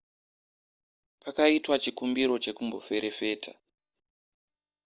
pakaitwa chikumbiro chekumboferefeta